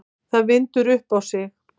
Það vindur upp á sig.